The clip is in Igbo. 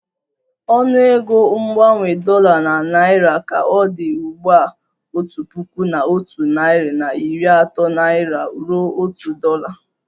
Ọnụego mgbanwe dollar na naira ka ọ dị ugbu a otu puku na otu nari na iri ato naira ruo otu dolla